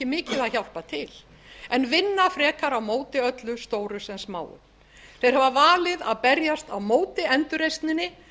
mikið að hjálpa til en vinna frekar á móti öllu stóru sem smáu þeir hafa valið að berjast á móti endurreisninni